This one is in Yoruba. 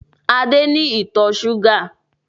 Adé ni ìtọ̀ ṣúgà